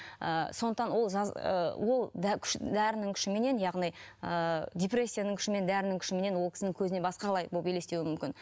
ііі сондықтан ол ы ол дәрінің күшіменен яғни депрессияның күшімен дәрінің күшімен ол кісінің көзіне басқалай болып елестеуі мүмкін